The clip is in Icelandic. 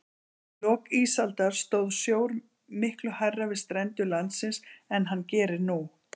Í lok ísaldar stóð sjór miklu hærra við strendur landsins en hann gerir nú.